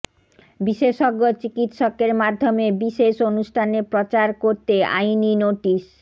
বিশেষজ্ঞ চিকিৎসকের মাধ্যমে বিশেষ অনুষ্ঠান প্রচার করতে আইনি নোটিশ